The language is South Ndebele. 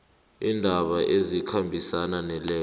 iindaba ezikhambisana nalezo